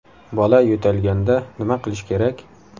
Bola yo‘talganda nima qilish kerak?